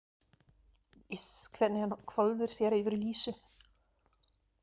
Iss hvernig hann hvolfir sér yfir Lísu.